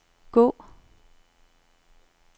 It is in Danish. gå